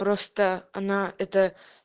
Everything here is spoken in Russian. просто она это